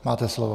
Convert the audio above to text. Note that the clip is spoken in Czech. Máte slovo.